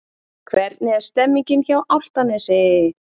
Hvernig er stemningin hjá Álftanesi?